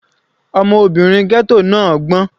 Ọmọbìnrin ghetto náà gbọ́n.